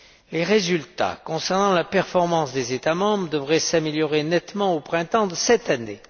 Les résultats concernant la performance des États membres devraient s'améliorer nettement au printemps de cette année.